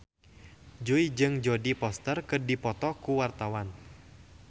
Jui jeung Jodie Foster keur dipoto ku wartawan